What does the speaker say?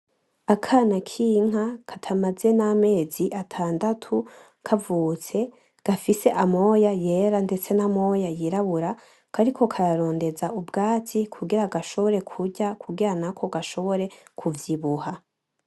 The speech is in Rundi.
Akana k'inka katamaze n'amezi atandatu kavutse gafise amoya yera ndetse namoya yirabura, kariko kararondeza ubwatsi kugira ngo gashobore kurya kugira nako gashobore kuvyibuha.